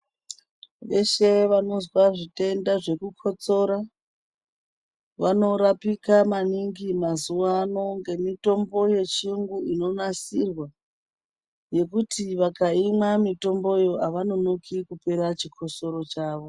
Veshe vanozwa zvitwnda zvekukotsora vanorwpike maningi mazuva ano nemitombo yechiyungu inonasirwa. Ngekuti vakaimwa mitombo iyoyo avanonoki kupera chikosoro chavo.